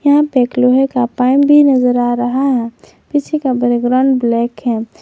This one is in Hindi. यहां पर एक लोहे का पाइप भी नजर आ रहा है पीछे का बैकग्राउंड ब्लैक है।